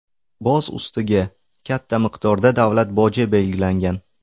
Boz ustiga, katta miqdorda davlat boji belgilangan.